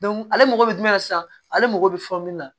ale mago bɛ jumɛn sisan ale mago bɛ fɛn min na